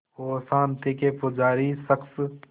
और शांति के पुजारी इस शख़्स